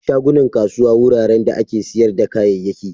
Shagunan kasuwa wuraren da ake siyar da kayayyaki.